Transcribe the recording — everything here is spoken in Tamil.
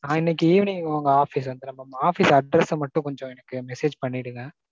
நான் இன்னிக்கி evening உங்க office க்கு வந்திடுறேன் mam. Office address ச மட்டும் கொஞ்சம் எனக்கு message பண்ணிடுங்க.